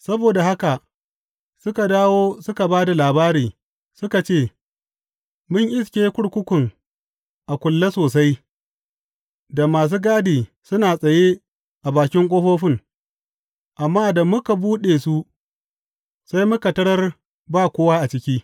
Saboda haka suka dawo suka ba da labari, suka ce, Mun iske kurkukun a kulle sosai, da masu gadi suna tsaye a bakin ƙofofin; amma da muka buɗe su, sai muka tarar ba kowa a ciki.